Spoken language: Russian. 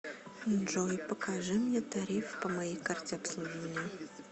джой покажи мне тариф по моей карте обслуживания